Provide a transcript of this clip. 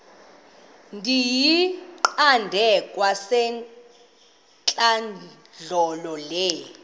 ndiyiqande kwasentlandlolo le